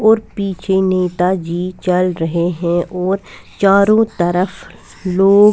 और पिछे नेताजी चल रहे है और चारों तरफ लोग --